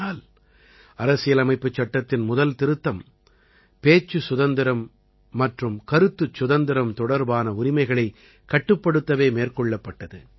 ஆனால் அரசியலமைப்புச் சட்டத்தின் முதல் திருத்தம் பேச்சு சுதந்திரம் மற்றும் கருத்துச் சுதந்திரம் தொடர்பான உரிமைகளைக் கட்டுப்படுத்தவே மேற்கொள்ளப்பட்டது